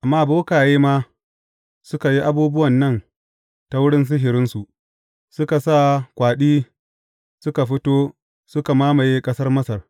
Amma bokaye ma suka yi abubuwan nan ta wurin sihirinsu; suka sa kwaɗi suka fito suka mamaye ƙasar Masar.